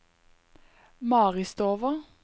Maristova